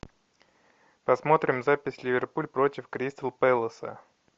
посмотрим запись ливерпуль против кристал пэласа